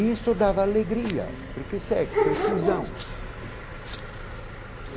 Isso dava alegria, porque sexo é fusão.